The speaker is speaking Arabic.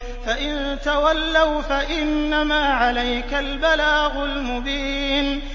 فَإِن تَوَلَّوْا فَإِنَّمَا عَلَيْكَ الْبَلَاغُ الْمُبِينُ